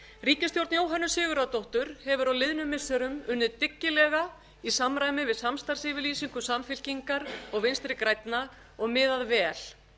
ríkisstjórn jóhönnu sigurðardóttur hefur á liðnum missirum unnið dyggilega í samræmi við samstarfsyfirlýsingu samfylkingar og vinstri grænna og miðað vel